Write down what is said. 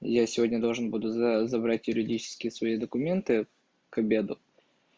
я сегодня должен буду забрать юридически свои документы к обеду